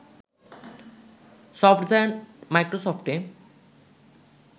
soft giant মাইক্রোসফটে